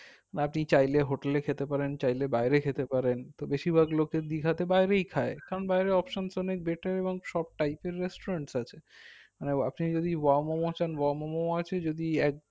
বা আপনি চাইলে hotel এ খেতে পারেন চাইলে বাইরে খেতে পারেন তো বেশির ভাগ লোকে দীঘাতে বাইরেই খাই কারণ বাইরের options অনেক better এবং সব type এর restaurants আছে আপনি যদি wow মোমো চান wow মোমো আছে যদি